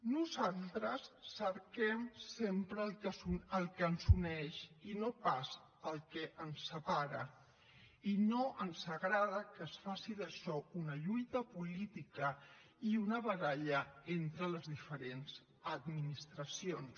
nosaltres cerquem sempre el que ens uneix i no pas el que ens separa i no ens agrada que es faci d’això una lluita política i una baralla entre les diferents administracions